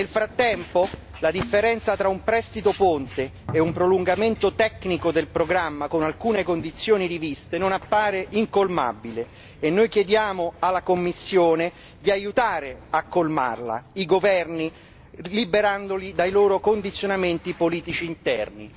Nel frattempo, la differenza tra un prestito ponte e un prolungamento tecnico del programma con alcune condizioni riviste non appare incolmabile e noi chiediamo alla Commissione di aiutare i governi a colmarla liberandoli dai loro condizionamenti politici interni.